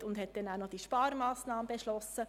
Anschliessend wurde die Sparmassnahme beschlossen.